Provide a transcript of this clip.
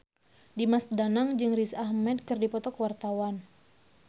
Dimas Danang jeung Riz Ahmed keur dipoto ku wartawan